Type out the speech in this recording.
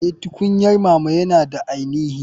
Eh tukunyar mama yana da ainihi.